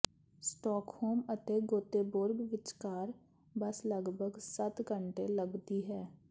Stockholm ਅਤੇ Gothenburg ਵਿਚਕਾਰ bus ਲਗਭਗ ਸੱਤ ਘੰਟੇ ਲੱਗਦੀ ਹੈ